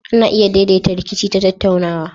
Ana iya daidaita rikici ta tattaunawa.